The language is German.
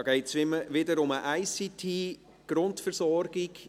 Hier geht es wieder um die ICT-Grundversorgung.